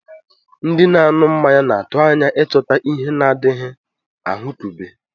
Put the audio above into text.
Ndị na-anụ mmanya na-atụ anya ịchọta ihe na-adịghị ahụkebe.